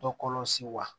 Dɔ kɔlɔsi wa